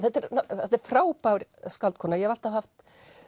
þetta er þetta er frábær skáldkona ég hef alltaf haft